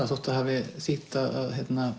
þótt það hafi þýtt að